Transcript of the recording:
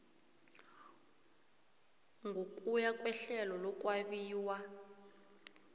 ngokuya kwehlelo lokwabiwa